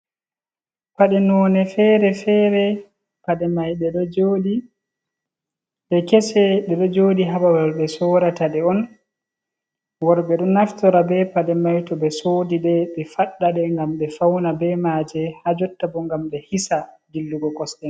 Paɗe none fere fere paɗe mai ɓe kese ɗe ɗo joɗi ha babal ɓe sorata ɗe on, worbee ɗo naftora be paɗe mai to ɓe sodi ɗe ɓe fadda ɗe ngam ɓe fauna be maje ha jotta bo gam ɓe hisa dillugo kosɗe.